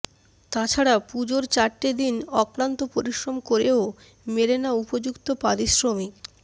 তাছাড়া পুজোর চারটে দিন অক্লান্ত পরিশ্রম করেও মেলে না উপযুক্ত পারিশ্রমিক